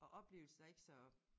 Og oplevelsen er ikke så